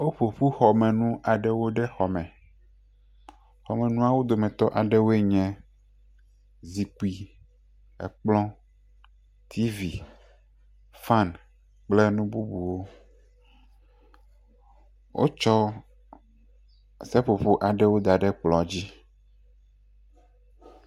Woƒo ƒu xɔmenu aɖewo ɖe xɔ me, xɔmɔnuawo dometɔ aɖewoe nye zikpui, ekplɔ, tivi, fan kple nu bubuwo, wotsɔ seƒoƒo aɖewo da ɖe kplɔ dzi.